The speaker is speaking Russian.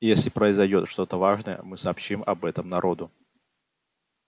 если произойдёт что-то важное мы сообщим об этом народу